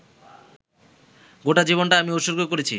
গোটা জীবনটা আমি উৎসর্গ করেছি